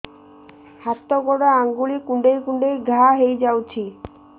ହାତ ଗୋଡ଼ ଆଂଗୁଳି କୁଂଡେଇ କୁଂଡେଇ ଘାଆ ହୋଇଯାଉଛି